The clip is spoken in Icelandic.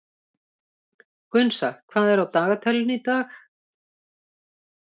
Gunnsa, hvað er á dagatalinu í dag?